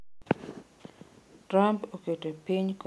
Trump oketo piny Korea ma Ugwe kaka ‘piny machung’ ne terruok’.